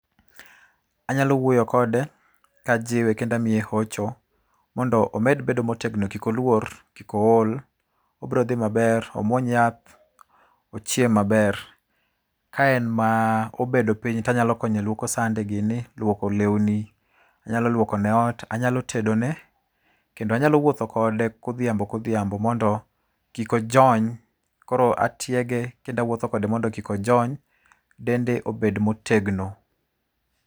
Anyalo wuoyo kode kajiwe kendo amiye hocho mondo omed bedo motegno kik oluor, kik ool, obiro dhi maber. Omuony yath, ochiem maber. Ka en ma obedo piny to anyalo konye luoko sande gini, luoko lewni, anyalo luokone ot, anyalo tedone kendo anyalo wuotho kode godhiambo kodhiambo mondo kik ojony, koro atiege kendo awuotho kode mondo kik ojony dende obed motegno.